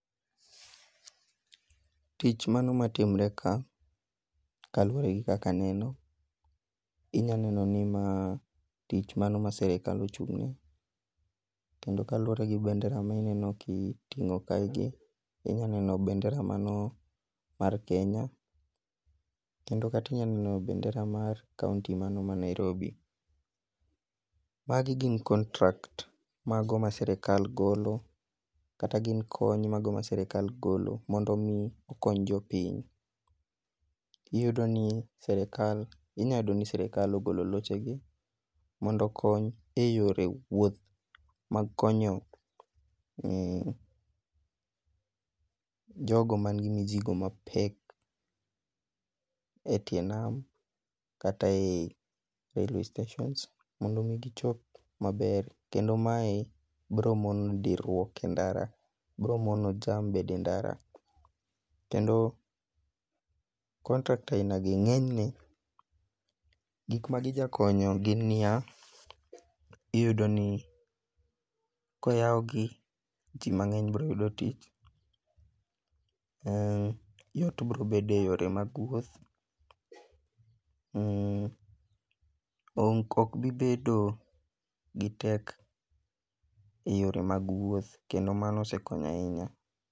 Tich mano matimre ka, kaluwore gi kaka neno, inya neno ni ma tich mano ma sirikal ochung'ye, kendo kalure gi bendera mineno kiting'o kaegi, inya neno bendera mano mar Kenya, kendo inya neno bendera mar kaonti mano ma Nairobi. Magi gin contracts mago ma sirikal golo kata gin kony mago ma sirikal golo mondo omi okony jopiny. Inya yudo ni sirikal ogolo lochegi mondo okony e yore wuoth mag konyo jogo manigi mizigo mapek e tie nam, kata ei railway stations mondo omi gichop maber kendo mae biro mono dirruok e ndara, bro mono jam bedo e ndara,. Kendo contracts aina gi ng'enyne gik ma gijakonyo en ni ya, iyudo ni ka oyawgi, ji mang'eny biro yudo tich, yot brobedo e yore mag wuoth, ok bibedo gi pek e yore mag wuoth kendo mano osekonyo ahinya.